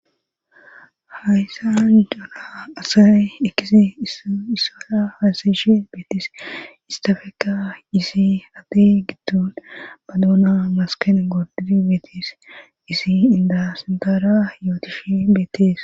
hayssan jaana asay ekisi issala haasayshe beetes istafeeka isi hadde giddon badoona masken goordid beetes isi inda sindara yootishi beettees